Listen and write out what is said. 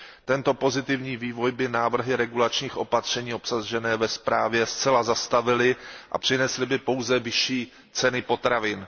Tento pozitivní vývoj by návrhy regulačních opatření obsažené ve zprávě zcela zastavily a přinesly by pouze vyšší ceny potravin.